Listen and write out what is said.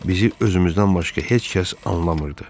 Bizi özümüzdən başqa heç kəs anlamırdı.